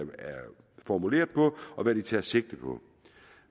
formuleret på og hvad de tager sigte på